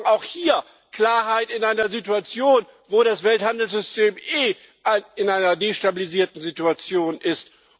Wir brauchen auch hier Klarheit in einer Situation, wo das Welthandelssystem eh in einer destabilisierten Situation ist.